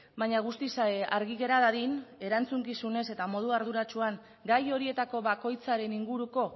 baina guztiz argi gera dadin erantzukizunez eta modu arduratsuan gai horietako bakoitzaren inguruko